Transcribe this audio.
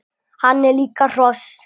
Hann er líka hross!